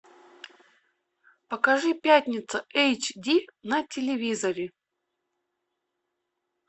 покажи пятница эйч ди на телевизоре